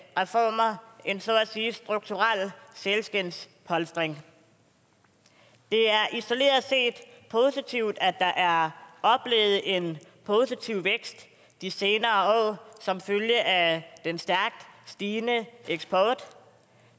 reformer en så at sige strukturel sælskindspolstring det er isoleret set positivt at der er oplevet en positiv vækst de senere år som følge af den stærkt stigende eksport